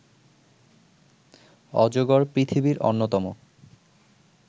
অজগর পৃথিবীর অন্যতম